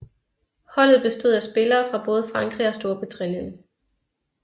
Holdet bestod af spillere fra både Frankrig og Storbritannien